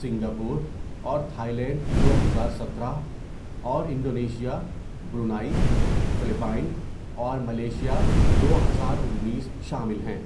Singapore اور Thailand دو ہزار سترہ، اور انڈونیشیا، برونائی، فلپائن اور ملائیشیا دو ہزار انیس شامل ہیں.